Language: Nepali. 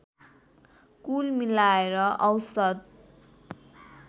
कुल मिलाएर औसत